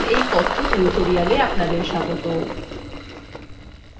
libreoffice base এর এই কথ্য tutorialএ আপনাদের স্বাগত